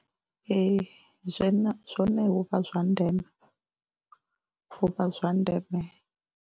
Ee, zwene zwone hu vha zwa ndeme hu vha zwa ndeme.